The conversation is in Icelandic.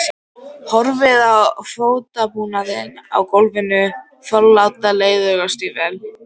Horfði á fótabúnaðinn á gólfinu, forláta leðurstígvél.